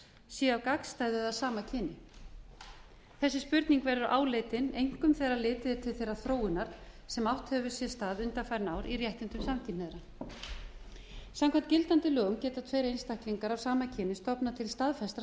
séu af gagnstæðu eða sama kyni þessi spurning verður áleitin einkum þegar litið er til þeirrar þróunar sem átt hefur sér stað undanfarin ár í réttindum samkynhneigðra samkvæmt gildandi lögum geta tveir staklingar að sama kyni stofnað til staðfestrar